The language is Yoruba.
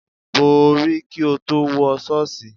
Bo orí kí o tó wọ ṣọ́ọ̀ṣì.